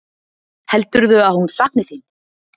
Heldurðu að hún sakni þín?